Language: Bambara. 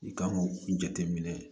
I kan k'o jateminɛ